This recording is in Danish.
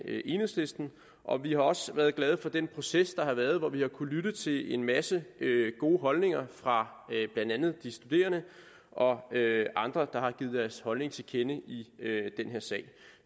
enhedslisten og vi har også været glade for den proces der har været hvor vi har kunnet lytte til en masse gode holdninger fra blandt andet de studerende og andre der har givet deres holdning til kende i den her sag